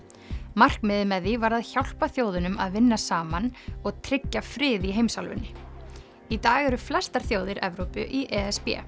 markmiðið með því var að hjálpa þjóðunum að vinna saman og tryggja frið í heimsálfunni í dag eru flestar þjóðir Evrópu í e s b